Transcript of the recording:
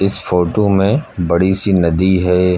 इस फोटो में बड़ी सी नदी है।